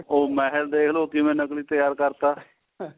ਉਹ ਮਹਿਲ ਦੇਖਲੋ ਕਿਵੇਂ ਨਕਲੀ ਤਿਆਰ ਕਰਤਾ